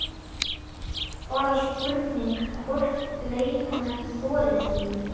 Nú er bara spurning hvort leikmenn þori því?